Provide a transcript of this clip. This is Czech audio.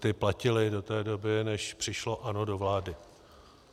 Ty platily do té doby, než přišlo ANO do vlády.